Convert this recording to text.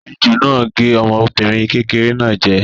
Ejò náà gé ọmọbìnrin kékeré náà jẹ.